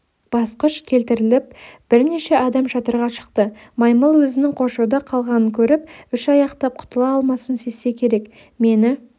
басқыш келтіріліп бірнеше адам шатырға шықты маймыл өзінің қоршауда қалғанын көріп үш аяқтап құтыла алмасын сезсе керек мені